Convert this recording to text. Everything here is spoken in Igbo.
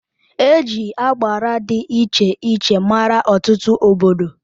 Eji agbara dị iche iche mara Ọtụtụ obodo.